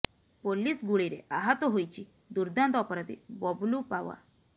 police ଗୁଳିରେ ଆହତ ହୋଇଛି ଦୁର୍ଦ୍ଦାନ୍ତ ଅପରାଧୀ ବବଲୁ ପାୱା